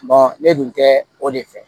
ne dun tɛ o de fɛ